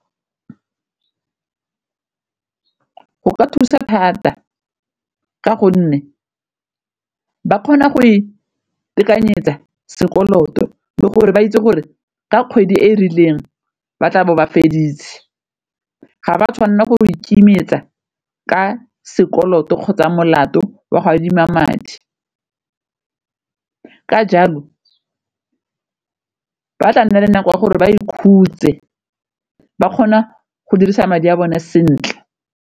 Go ka thusa thata ka gonne ba kgona go itekanyetsa sekoloto le gore ba itse gore ka kgwedi e e rileng ba tla be ba feditse, ga ba tshwanela gore go ikemisetsa ka sekoloto kgotsa molato wa go adima madi. Ka jalo ba tla nna le nako ya gore ba ikhutse ba kgona go dirisa madi a bone sentle.